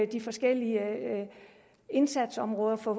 de forskellige indsatsområder at få